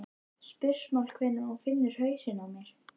spursmál hvenær hún finnur hausinn á mér.